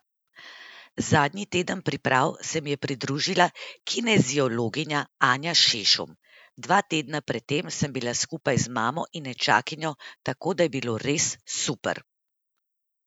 Zadnji teden priprav se mi je pridružila kineziologinja Anja Šešum, dva tedna pred tem sem bila skupaj z mamo in nečakinjo, tako da je bilo res super.